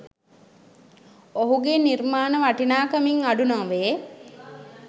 ඔහුගේ නිර්මාණ වටිනාකමින් අඩු නොවේ